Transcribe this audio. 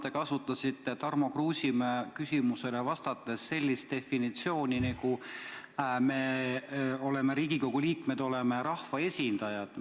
Te kasutasite Tarmo Kruusimäe küsimusele vastates sellist definitsiooni, et meie, Riigikogu liikmed, oleme rahvaesindajad.